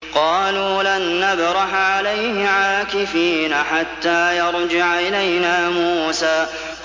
قَالُوا لَن نَّبْرَحَ عَلَيْهِ عَاكِفِينَ حَتَّىٰ يَرْجِعَ إِلَيْنَا مُوسَىٰ